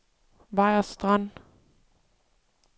Vejers Strand